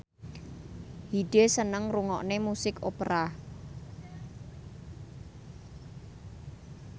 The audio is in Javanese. Hyde seneng ngrungokne musik opera